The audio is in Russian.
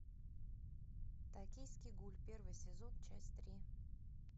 токийский гуль первый сезон часть три